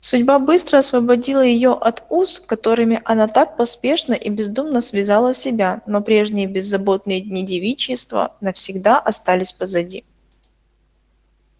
судьба быстро освободила её от уз которыми она так поспешно и бездумно связала себя но прежние беззаботные дни девичества навсегда остались позади